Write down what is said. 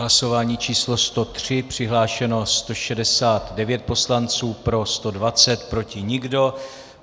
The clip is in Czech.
Hlasování číslo 103, přihlášeno 169 poslanců, pro 120, proti nikdo.